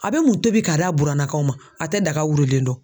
A be mun tobi k'a da burannakaw ma, a te daga wililen dɔn.